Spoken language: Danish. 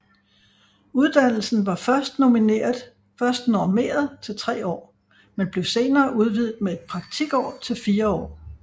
Uddannelsen var først normeret til 3 år men blev senere udvidet med et praktikår til 4 år